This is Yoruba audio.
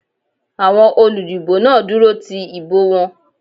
Àwọn olúdìbò náà dúró ti ìbò wọn.